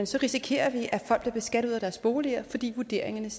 så risikerer vi at folk bliver beskattet ud af deres boliger fordi vurderingerne